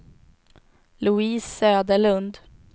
Louise Söderlund